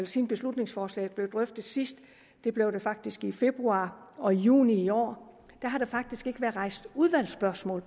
siden beslutningsforslaget blev drøftet sidst det blev det faktisk i februar og i juni i år ikke været rejst udvalgsspørgsmål